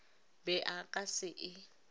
be a ka se e